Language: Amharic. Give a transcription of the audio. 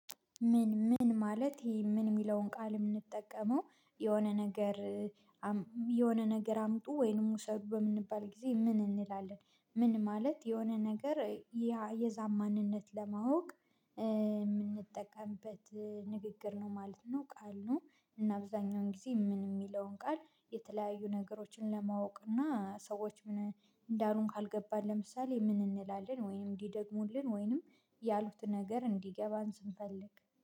ምን ምን ማለት ይሄ ምን የሚለውን ቃል የምንጠቀመው የሆነ ነገር የሆነ ነገር አምጡ ወይንም ውሰድ በምንባል ጊዜ ምን እንላለን? ምን ማለት የሆነ ነገር ያ የዛን ማንነት ለማወቅ የምንጠቀምበት ንግግር ነው ማለት ነው። ቃል ነው እና አብዛኛውን ጊዜ ምን የሚለውን ቃል የተለያዩ ነገሮችን ለማወቅ እና ሰዎች ምን እንዳሉን ካልገባን ለምሳሌ ምን እንላለን ወይንም እንዲደግሙልን ወይንም ያሉት ነገር እንዲገባን ስንፈልግ